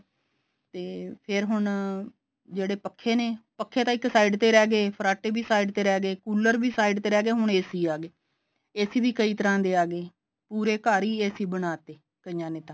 ਤੇ ਫੇਰ ਹੁਣ ਜਿਹੜੇ ਪੱਖੇ ਨੇ ਪੱਖੇ ਤਾਂ ਇੱਕ side ਤੇ ਰਹਿ ਗਏ ਫਰਾਟੇ ਵੀ side ਤੇ ਰਹਿ ਗਏ ਕੂਲਰ ਵੀ side ਤੇ ਰਹਿ ਗਏ ਹੁਣ AC ਆ ਗਏ AC ਵੀ ਕਈ ਤਰ੍ਹਾਂ ਦੇ ਆ ਗਏ ਪੂਰੇ ਘਰ ਹੀ AC ਬਣਾ ਤੇ ਕਈਆਂ ਨੇ ਤਾਂ